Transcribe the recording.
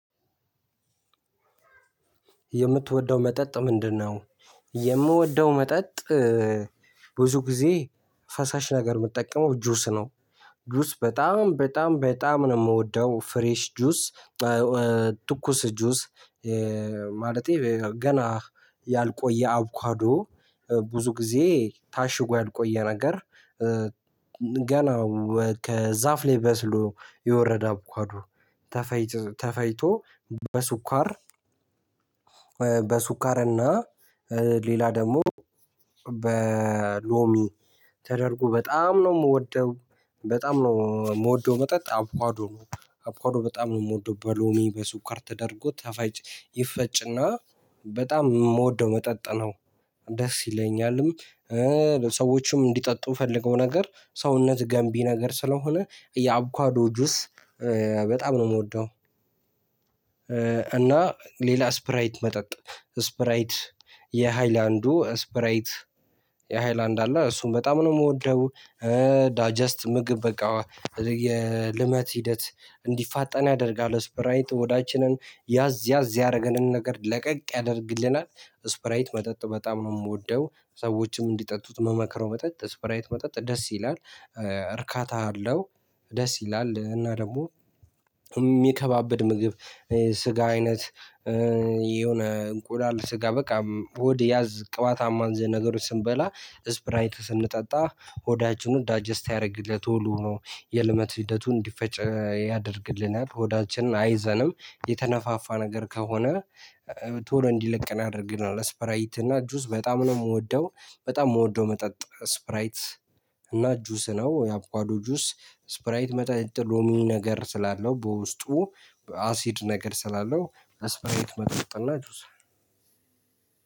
የምትወደው መጠጥ ምንድነው? የምወደው መጠጥ ብዙ ጊዜ ፈሳሽ ነገር የምጠቀመው ጁስ ነው። ጁስ በጣም በጣም በጣም ነው የምወደው ፍሬሽ ጁስ። ትኩስ ጁስ ማለቴ ገና ያልቆየ አቡኳዶ ብዙ ጊዜ ታሽጎ ያልቆየ ነገር። ገና ከዛፍ ላይ በስሎ የወረደ አቡካዶ ተፈጭቶ በስኳር በስኳር በስኳር እና ሌላ ደግሞ በሎሚ ተደርጎ በጣም ነው የምወደው። በጣም ነው የምወደው መጠጥ አቡዋዶ ነው። አብካዶ በጣም ነው የምወደው በሎሚ በስኳር ተደርጎ ተፈጭ ይፈጭና በጣም የምወደው መጠጥ ነው። ደስ ይለኛልም። ሰዎችም እንዲጠጡ ፈልገው ነገር ሰውነት ገንቢ ነገር ስለሆነ የአቡካዶ ጁስ በጣም ነው የምወደው። እና ሌላ ስፕራይት መጠጥ ስፕራይት የሃይላንዱ ስፕራይት የሃይላንድ አለ እሱን በጣም ነው የምወደው። ዳጀስት ምግብ በቃ የልመት ሂደት እንዲፋጠን ያደርጋል ስፕራይት ሆዳችንን ያዝ ያዝ ያደረገንን ነገር ለቀቅ ያደርግልናል። ስፕራይት መጠጥ በጣም ነው የምወደው። ሰዎችም እንዲጠጡት ምመክረው መጠጥ ስፕራይት መጠጥ ደስ ይላል። እርካታ አለው። ደስ ይላል እና ደግሞ የሚከባብድ ምግብ ስጋ አይነት የሆነ እንቁላል ስጋ በቃ ሆድ ያዝ ቅባታማ እንደዚህ ነገሮች ስንበላ ስፕራይት ስንጠጣ ሆዳችንን ዳጀስት ያደርግልን ቶሎ ሆኖ የልመት ሂደቱን እንዲፈጭ ያደርግልናል። ሆዳችንን አይዘንም የተነፋፋ ነገር ከሆነ ቶሎ እንዲለቀን ያደርግናል። ስፕራይት እና ጁስ በጣም ነው የምወደው። በጣም የምወደው መጠጥ ስፕራይት እና ጁስ ነው የአቡካዶ ጁስ ስፕራይት መጠጥ ሎሚ ነገር ስላለው። በውስጡ አሲድ ነገር ስላለው አስፓይት መጠጥ እና ጁስ